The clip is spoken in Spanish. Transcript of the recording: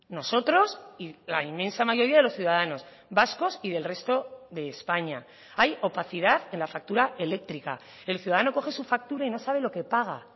nosotros y la inmensa mayoría de los ciudadanos vascos y del resto de españa hay opacidad en la factura eléctrica el ciudadano coge su factura y no sabe lo que paga